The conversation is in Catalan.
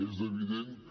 és evident que